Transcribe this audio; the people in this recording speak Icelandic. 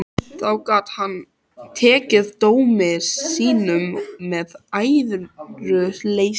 Þá gat hann tekið dómi sínum með æðruleysi.